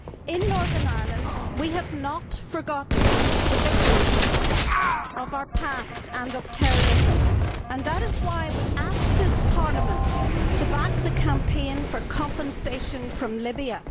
In Northern Ireland, we have not forgotten the victims of our past and of terrorism and that is why I would ask this Parliament to back the campaign for compensation from Libya.